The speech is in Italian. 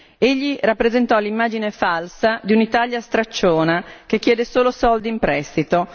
Egli rappresentò l'immagine falsa di un'Italia stracciona che chiede solo soldi in prestito.